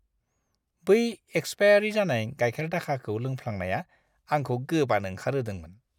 बै एक्सपायेरि जानाय गाइखेर दाखाखौ लोंफ्लांनाया आंखौ गोबानो ओंखारहोदोंमोन।